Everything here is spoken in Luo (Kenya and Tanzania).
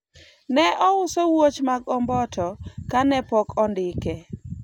ne ouso wuoch mag omboto kane pok ondike